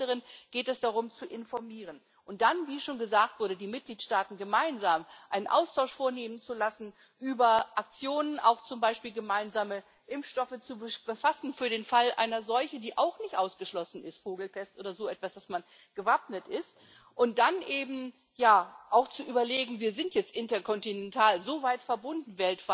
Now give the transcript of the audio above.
Bei vielen anderen geht es darum, zu informieren und dann wie schon gesagt die Mitgliedstaaten gemeinsam einen Austausch vornehmen zu lassen über Aktionen, auch zum Beispiel gemeinsame Impfstoffe für den Fall einer Seuche, die auch nicht ausgeschlossen ist Vogelpest oder so etwas damit man gewappnet ist, und dann auch zu überlegen Wir sind jetzt interkontinental, weltweit so weit verbunden.